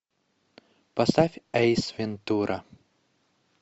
поставь эйс вентура